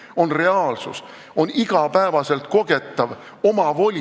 See on reaalsus, on igapäevaselt kogetav omavoli ...